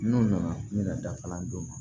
N'u nana ne ka dafalan d'u ma